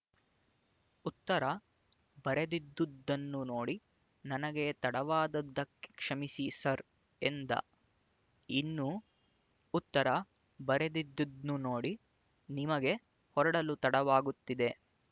ಉತ್ತರ ಬರದಿದ್ದುದನ್ನು ನೋಡಿ ನನಗೆ ತಡವಾದದ್ದಕ್ಕೆ ಕ್ಷಮಿಸಿ ಸರ್ ಎಂದ ಇನ್ನೂ ಉತ್ತರ ಬರದಿದ್ದುದ್ನು ನೋಡಿ ನಿಮಗೆ ಹೊರಡಲು ತಡವಾಗುತ್ತಿದೆ